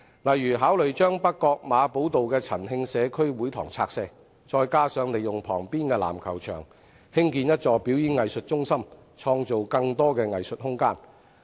例如考慮把北角馬寶道的陳慶社區會堂拆卸，再加上利用旁邊的籃球場，興建一座表演藝術中心，創造更多藝術空間。